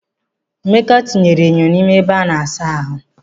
Emeka tinyere enyo n'ime ebe a na-asa ahụ.